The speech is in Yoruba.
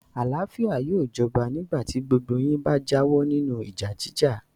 Àlàáfíà yóò jọba nígbà tí gbogbo yín bá jáwọ́ nínú ìjà jíjà.